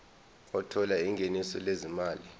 othola ingeniso lezimali